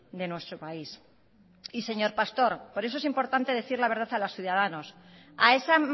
de nuestro país y señor pastor por eso es importante decir la verdad a los ciudadanos a esa